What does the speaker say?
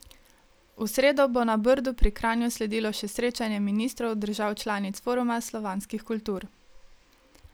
V sredo bo na Brdu pri Kranju sledilo še srečanje ministrov držav članic Foruma slovanskih kultur.